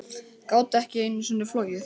Gátu ekki einu sinni flogið.